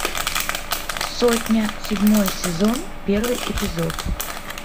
сотня седьмой сезон первый эпизод